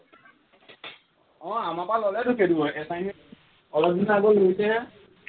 অ আমাৰ পৰা ললেতো সেইটো assignment অলপ দিনৰ আগত লৈছেহে